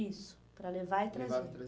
Isso, para levar e trazer. Levava e